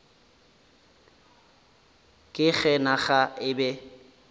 ka ge naga e be